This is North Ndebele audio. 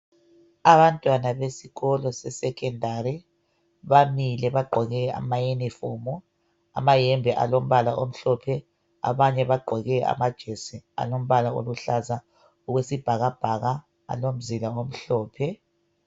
Abantwana besikolo sesekhondari bamile bagqoke amayunifomu, amayembe alombala omhlophe, abanye bagqoke amajesi alombala oluhlaza okwesibhakabhaka alomzila omhlophe.